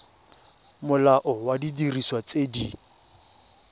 molao wa didiriswa tse di